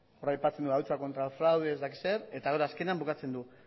hor aipatzen du la lucha contra el fraude ez dakit zer eta hor azkenean bukatzen du